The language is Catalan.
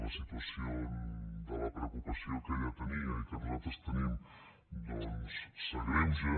la situació de la preocupació que ella tenia i que nosaltres tenim s’agreuja